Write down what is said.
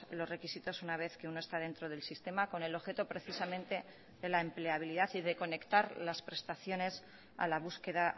los requisitos una vez que uno está dentro del sistema con el objeto precisamente de la empleabilidad y de conectar las prestaciones a la búsqueda